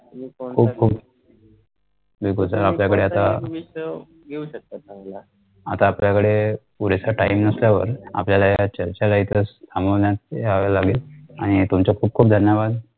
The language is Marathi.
खूप खूप बिलकुल sir आपल्याकडे आता आता आपल्याकडे पुरेसा time नसल्यावर आपल्याला या चर्चा ला इथेचथांबवण्यात यावं लागेल आणि तुमच्या खूप खूप धन्यवाद